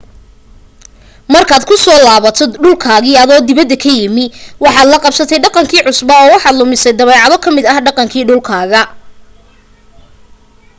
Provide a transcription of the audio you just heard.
markaad ku soo laabato dhulkaagii adoo dibadda ka yimi waxaad la qabsatay dhaqankii cusbaa oo waxaad lumisay dabeecado ka mid ah dhaqankii dhulkaaga